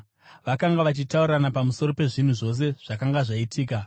Vakanga vachitaurirana pamusoro pezvinhu zvose zvakanga zvaitika.